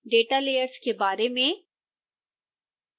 data layers के बारे में